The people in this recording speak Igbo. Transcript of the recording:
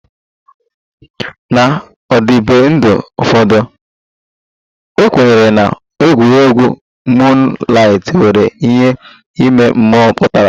N'ọdịbendị ụfọdụ, a kwenyere na egwuregwu moonlight nwere ihe ime mmụọ pụtara